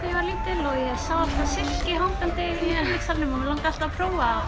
ég var lítil og sá silki hangandi í salnum og langaði alltaf að prófa